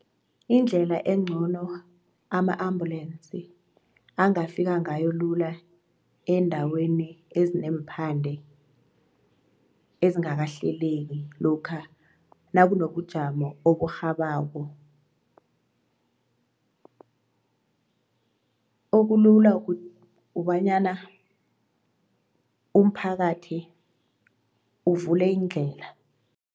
Indlela encono ama-ambulensi angafika ngayo lula eendaweni ezineemphande ezingakahleleki lokha nakunobujamo oburhabako okulula kubanyana umphakathi uvule iindlela.